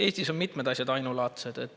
Eestis on mitmed asjad ainulaadsed.